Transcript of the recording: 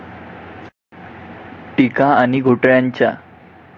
टीका आणि घोटाळ्यांच्या